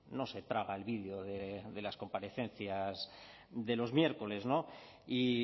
no se traga el vídeo de las comparecencias de los miércoles y